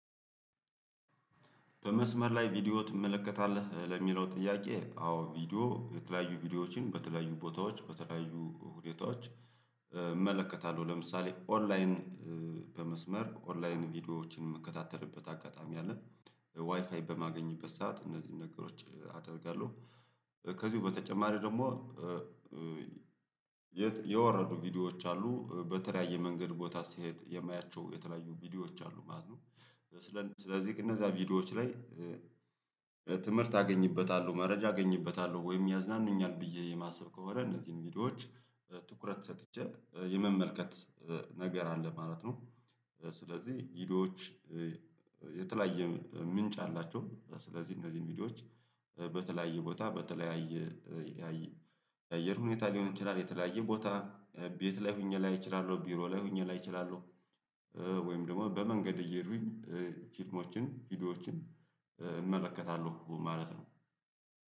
በመስመር ላይ ቪዲዮ ትመለከታለህ ለሚለው ጥያቄ አዎ ቪዲዮ የተለያዩ ቪዲዮዎችን በተለያዩ ቦታዎች በተለያዩ ሁኔታዎች እመለከታለሁ። ለምሳሌ ኦንላይን። በመስመር ኦንላይን ቪዲዮዎችን ምከታተልበት አጋጣሚ አለ ዋይፋይ በማገኝበት ሰዓት እነዚህን ነገሮች አደርጋለሁ። ከዚሁ በተጨማሪ ደግሞ የወረዱ ቪዲዮዎች አሉ በተለያየ መንገድ ቦታ ስሄድ የማያቸው የተለያዩ ቪዲዮዎች አሉ ማለት ነው። ስለዚህ እነዛ ቪዲዮዎች ላይ ትምህርት አገኝበታለሁ መረጃ አገኝበታለሁ ወይም ያዝናናኛል ብዬ የማስብ ከሆነ እነዚህን ሚዲያዎች ትኩረት ሰጥቼ የመመልከት ነገር አለ ማለት ነው። ስለዚህ ቪዲዮዎች የተለያየ ምንጭ አላቸው። ስለዚህ እነዚህን ቪዲዮዎች በተለያየ ቦታ በተለያየ አየር ሁኔታ ሊሆን ይችላል። የተለያየ ቦታ ቤት ላይ ሆኜ ላይ እችላለሁ ቢሮ ላይ ሆኜ ላይ እችላለሁ። ወይም ደግሞ በመንገድ እየሄዱኝ ፊልሞችን ቪዲዮዎችን እመለከታለሁ ማለት ነው።